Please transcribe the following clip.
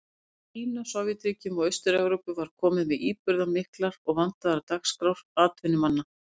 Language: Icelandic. Frá Kína, Sovétríkjunum og Austur-Evrópu var komið með íburðarmiklar og vandaðar dagskrár atvinnumanna.